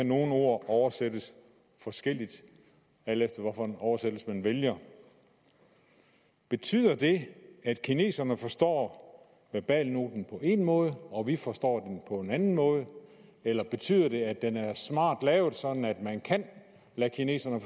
nogle ord oversættes forskelligt alt efter hvilken oversættelse man vælger betyder det at kineserne forstår verbalnoten på én måde og vi forstår på en anden måde eller betyder det at den er smart lavet sådan at man kan lade kineserne